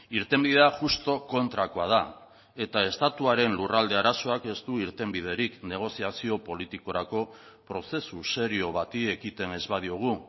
irtenbidea justu kontrakoa da eta estatuaren lurralde arazoak ez du irtenbiderik negoziazio politikorako prozesu serio bati ekiten ez badiogu